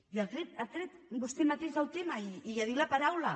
i ha tret vostè mateix el tema i ha dit la paraula